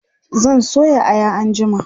zan soya Aya anjima